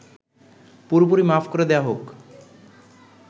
পুরোপুরি মাফ করে দেয়া হোক